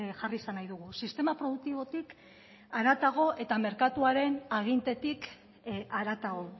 jarri izan nahi dugu sistema produktibotik haratago eta merkatuaren agintetik haratago